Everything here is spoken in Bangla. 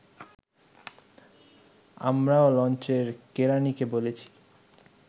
আমরাও লঞ্চের কেরানীকে বলেছি